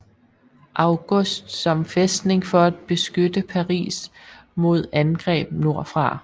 August som fæstning for at beskytte Paris mod angreb nordfra